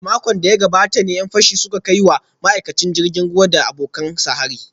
A makon da ya gabata ne ‘yan fashin suka kai wa ma’aikacin jirgin ruwa da abokan aikinsa hari